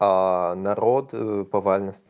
аа народ повально ст